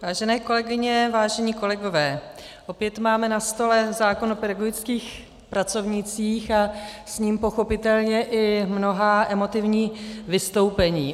Vážené kolegyně, vážení kolegové, opět máme na stole zákon o pedagogických pracovnících a s ním pochopitelně i mnohá emotivní vystoupení.